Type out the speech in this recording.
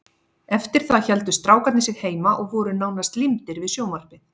Eftir það héldu strákarnir sig heima og voru nánast límdir við sjónvarpið.